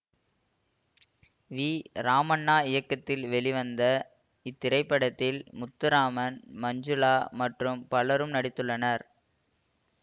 we Ramanna இயக்கத்தில் வெளிவந்த இத்திரைப்படத்தில் முத்துராமன் மஞ்சுளா மற்றும் பலரும் நடித்துள்ளனர்